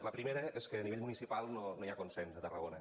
la primera és que a nivell municipal no hi ha consens a tarragona